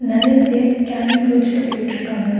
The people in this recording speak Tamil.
நெறைய பேர் கேண்டில் புடிச்சுட்டு போய்ட்டுருக்காங்க.